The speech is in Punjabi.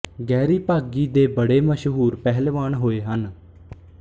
ਗਹਿਰੀ ਭਾਗੀ ਦੇ ਬੜੇ ਮਸ਼ਹੂਰ ਪਹਿਲਵਾਨ ਹੋਏ ਹਨ